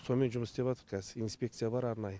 сонымен жұмыс істеватырқ кәзір инспекция бар арнайы